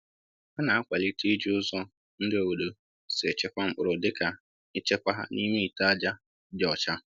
Ha na-akwalite iji ụzọ ndị obodo si echekwa mkpụrụ dịka ịchekwa ha n’ime ite ájá dị ọcha.